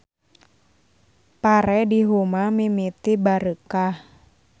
Pare di huma mimiti bareukah.